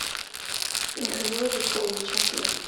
михаила викторовича